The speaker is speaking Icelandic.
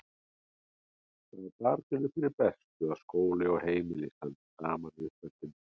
Það er barninu fyrir bestu að skóli og heimili standi saman í uppeldinu.